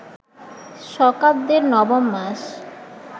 শকাব্দের নবম মাস